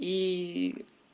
и